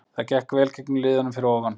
Það gekk vel gegn liðunum fyrir ofan.